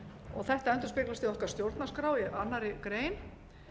og þetta endurspeglast í okkar stjórnarskrá í annarri grein